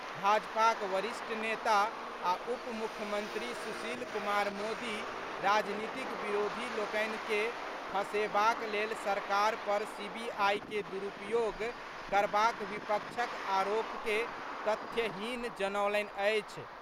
भाजपाक वरिष्ठ नेता आ उप मुख्यमंत्री सुशील कुमार मोदी राजनीतिक विरोधी लोकनि के फंसेबाक लेल सरकार पर सीबीआई के दुरूपयोग करबाक विपक्षक आरोप के तथ्यहीन जनौलनि अछि।